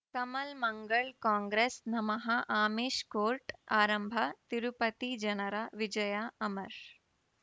ಕಮಲ್ ಮಂಗಳ್ ಕಾಂಗ್ರೆಸ್ ನಮಃ ಆಮಿಷ್ ಕೋರ್ಟ್ ಆರಂಭ ತಿರುಪತಿ ಜನರ ವಿಜಯ ಅಮರ್